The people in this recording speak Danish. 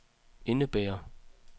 indebærer